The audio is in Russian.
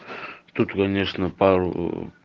тут конечно пару